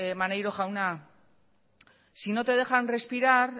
maneiro jauna si no te dejan respirar